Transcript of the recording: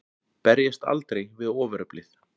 Berjast aldrei við ofureflið.